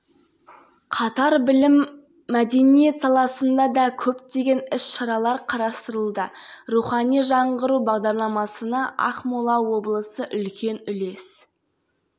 архат айбабин облыстық ішкі саясат басқармасы басшысының міндетін атқарушы авторлары нұржан мергенбай мадина смағұлова евгений шинкаренко